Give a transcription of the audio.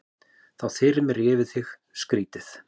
Þá þyrmir yfir þig, skrýtið.